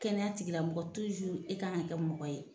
Kɛnɛya tigilamɔgɔ e ka kan ka kɛ mɔgɔ ye